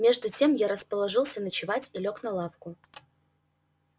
между тем я расположился ночевать и лёг на лавку